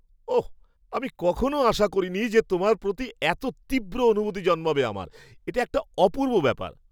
ওঃ! আমি কখনও আশা করিনি যে তোমার প্রতি এত তীব্র অনুভূতি জন্মাবে আমার। এটা একটা অপূর্ব ব্যাপার।